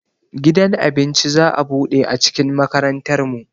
Gidan abinci za'a buɗe a cikin makarantar mu